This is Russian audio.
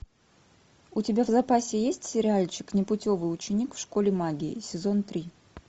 у тебя в запасе есть сериальчик непутевый ученик в школе магии сезон три